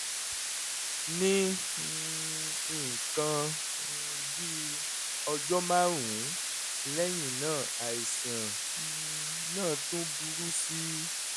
ní um nǹkan um bí ọjọ́ márùn-ún lẹ́yìn náà àìsàn um náà tún burú sí i